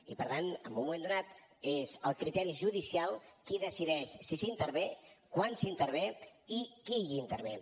i per tant en un moment donat és el criteri judicial qui decideix si s’intervé quan s’intervé i qui intervé